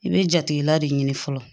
I bɛ jatigila de ɲini fɔlɔ